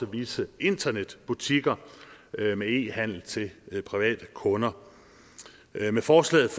visse internetbutikker med e handel til private kunder med forslaget